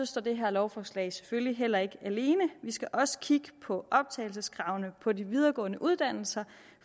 står det her lovforslag selvfølgelig heller ikke alene vi skal også kigge på optagelseskravene på de videregående uddannelser